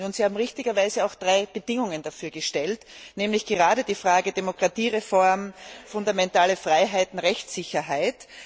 Sie haben richtigerweise auch drei Bedingungen dafür gestellt, nämlich gerade die Fragen Demokratiereform, Grundfreiheiten, Rechtssicherheit.